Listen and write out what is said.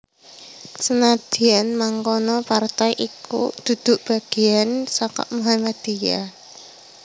Senadyan mangkono partai iki dudu bagéyan saka Muhammadiyah